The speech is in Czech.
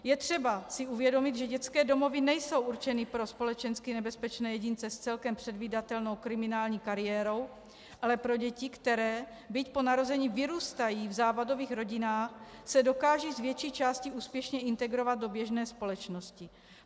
Je třeba si uvědomit, že dětské domovy nejsou určeny pro společensky nebezpečné jedince s celkem předvídatelnou kriminální kariérou, ale pro děti, které, byť po narození vyrůstají v závadových rodinách, se dokážou z větší části úspěšně integrovat do běžné společnosti.